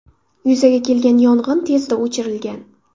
Yuzaga kelgan yong‘in tezda o‘chirilgan.